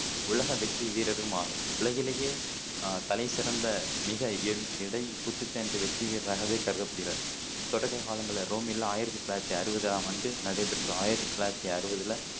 உலக வெற்றி வீரரும் ஆவர். உலகிலயே தலை சிறந்த மிக எ எடை குத்துச்சண்டை வெற்றி வீரராகவே கருதப்படுகிறார். தொடக்க காலங்களில, ரோமில் ஆயிரத்தி தொள்ளாயிரத்தி அறுவதாம் ஆண்டு நடைபெற்ற ஆயிரத்தி தொள்ளாயிரத்தி அறுவதுல